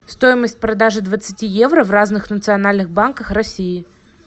стоимость продажи двадцати евро в разных национальных банках россии